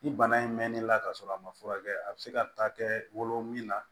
Ni bana in mɛn'i la ka sɔrɔ a ma furakɛ a bɛ se ka taa kɛ wolo min na